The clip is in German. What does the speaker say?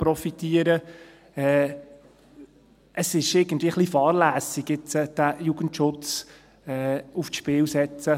Es ist irgendwie ein bisschen fahrlässig, jetzt den Jugendschutz aufs Spiel zu setzen.